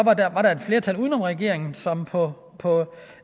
var der et flertal uden om regeringen som på på